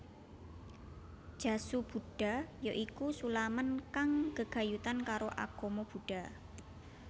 Jasu Buddha ya iku sulaman kang gegayutan karo agama Buddha